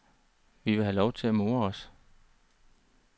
Vi vil have lov til at more os.